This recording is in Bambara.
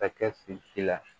Ka kɛ fin ji la